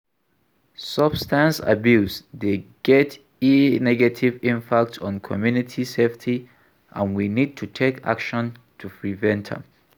Substance abuse dey get a negative impact on community safety and we need to take action to prevent am.